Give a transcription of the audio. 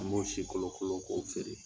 An m'o si kolo kolo k'o feere.